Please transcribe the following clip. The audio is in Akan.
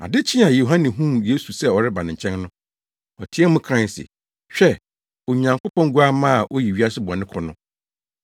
Ade kyee a Yohane huu Yesu sɛ ɔreba ne nkyɛn no, ɔteɛɛ mu kae se, “Hwɛ, Onyankopɔn Guamma a oyi wiase bɔne kɔ no!